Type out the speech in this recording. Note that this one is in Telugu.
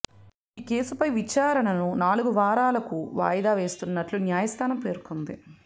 ఈ కేసుపై విచారణను నాలుగు వారాలకు వాయిదా వేస్తున్నటు న్యాయస్థానం పేర్కొంది